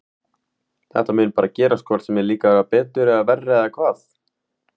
Þetta mun bara gerast hvort sem þeir, þeim líkar betur eða verr eða hvað?